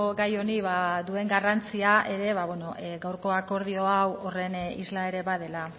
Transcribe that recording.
gai honi duen garrantzia ere gaurko akordio hau horren isla ere badela